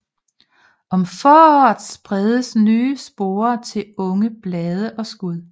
Om foråret spredes nye sporer til unge blade og skud